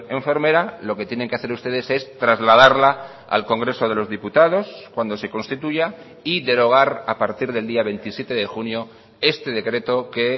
enfermera lo que tienen que hacer ustedes es trasladarla al congreso de los diputados cuando se constituya y derogar a partir del día veintisiete de junio este decreto que